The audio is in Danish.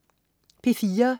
P4: